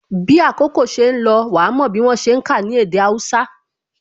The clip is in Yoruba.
Bí àkókò ṣe ń lọ, wa mò bí wọ́n ṣe ń ka ní èdè Hausa